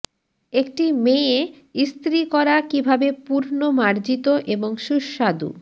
একটি মেয়ে ইস্ত্রি করা কিভাবে পূর্ণ মার্জিত এবং সুস্বাদু